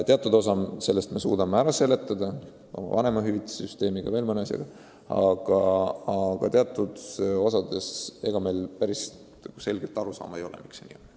Teatud osa sellest suudame ära seletada oma vanemahüvitise süsteemiga ja veel mõne asjaga, aga teatud osas meil päris selget arusaama ei ole, miks see nii on.